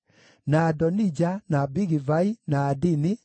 na Adonija, na Bigivai, na Adini,